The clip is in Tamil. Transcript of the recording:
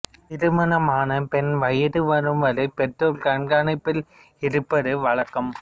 திருமணம் ஆன பெண் வயது வரும் வரை பெற்றோர் கண்காணிப்பில் இருப்பது வழக்கம்